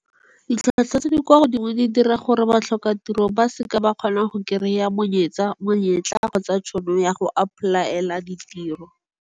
Ditlhotlhwa tse di kwa godimo di dira gore batlhokatiro ba seke ba kgona go kry-a monyetla kgotsa tšhono ya go apply-ela ditiro.